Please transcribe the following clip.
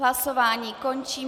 Hlasování končím.